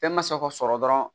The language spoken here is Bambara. Fɛn ma se k'o sɔrɔ dɔrɔn